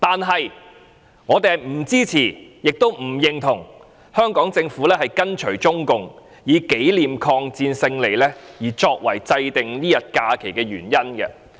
可是，我們不支持，亦不認同香港政府跟隨中共，以紀念抗戰勝利作為制訂這天假期的原因。